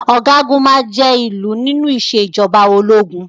Ọ̀gágun máa jé ìlú nínú ìṣèjọba ológun.